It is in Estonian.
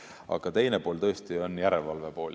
Aga teine pool on järelevalve pool.